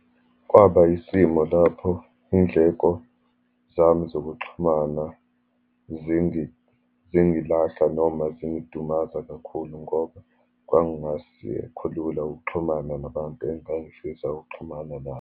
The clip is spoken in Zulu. Kwaba yisimo lapho iy'ndleko zami zokuxhumana zingilahla, noma zingidumaza kakhulu ngoba kwangasekholula ukuxhumana nabantu engangifisa ukuxhumana nabo.